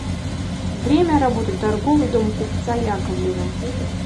время работы торговый дом купца яковлева